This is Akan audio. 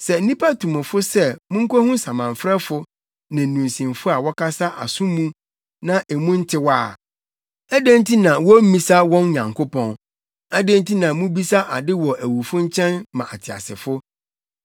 Sɛ nnipa tu mo fo sɛ monkohu samanfrɛfo ne nnunsifo a wɔkasa aso mu na emu ntew a, adɛn nti na wommmisa wɔn Nyankopɔn? Adɛn nti na mubisa ade wɔ awufo nkyɛn ma ateasefo?